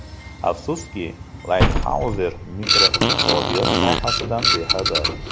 Afsuski, Laytxayzer makroiqtisodiyot sohasidan bexabar.